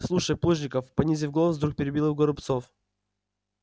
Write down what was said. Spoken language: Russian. слушай плужников понизив голос вдруг перебил горобцов